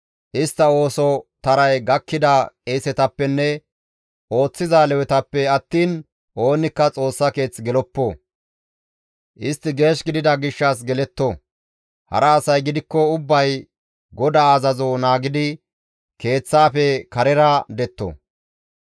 Istta ooso taray gakkida qeesetappenne ooththiza Lewetappe attiin oonikka Xoossa keeth geloppo; istti geesh gidida gishshas geletto; hara asay gidikko ubbay GODAA azazo naagidi Keeththaafe karera detto.